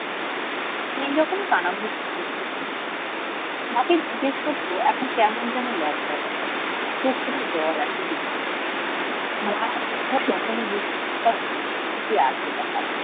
সেই রকম কানাঘুষা শুনেছে কুমু মাকে জিজ্ঞেস করতে এখন কেমন যেন লজ্জা করে চোখ থেকে জল আসে